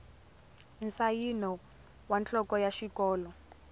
nsayino wa nhloko ya xikolo